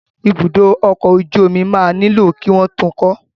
Ibùdó ọkọ̀ ojú omi máa nílò kí wọ́n tun kọ́.